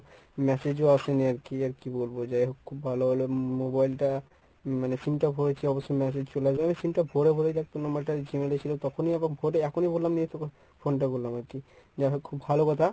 massage ও আসেনি আরকি আর কী বলবো যাই হোক খুব ভালো হল mobile টা মানে sim টা ভরেছি অবশ্য massage চলে যাবে sim টা ভরে ভরে দেখ তোর number টা ছিল তখনই এরকম ভরে এখনই বললাম phone টা করলাম আরকি। যাহোক খুব ভালো কথা